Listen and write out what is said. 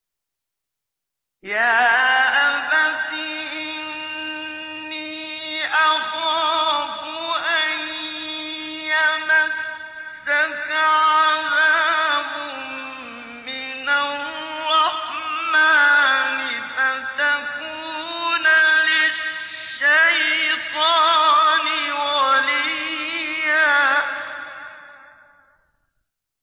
يَا أَبَتِ إِنِّي أَخَافُ أَن يَمَسَّكَ عَذَابٌ مِّنَ الرَّحْمَٰنِ فَتَكُونَ لِلشَّيْطَانِ وَلِيًّا